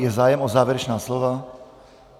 Je zájem o závěrečná slova?